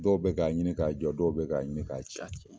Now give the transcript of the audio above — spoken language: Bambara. Dɔw bɛ k'a ɲini k'a jɔ dɔw bɛ k'a ɲini k'a cɛ.